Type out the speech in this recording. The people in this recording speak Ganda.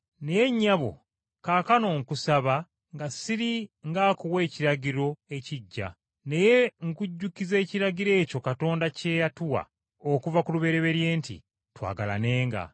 Naye nnyabo kaakano nkusaba nga siri ng’akuwa ekiragiro ekiggya, naye nkujjukiza ekiragiro ekyo Katonda kye yatuwa okuva ku lubereberye nti, “Twagalanenga.”